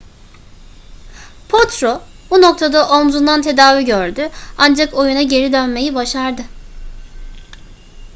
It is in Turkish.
potro bu noktada omzundan tedavi gördü ancak oyuna geri dönmeyi başardı